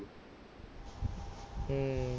ਹੂੰ